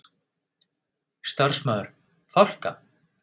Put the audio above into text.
Starfsmaður: Fálka?